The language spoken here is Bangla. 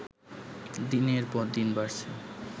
দিনের পর দিন বাড়ছে